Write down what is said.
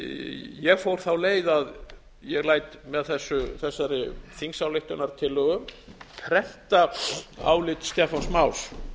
ég fór þá leið að ég læt með þessari þingsályktunartillögu prenta álit stefáns más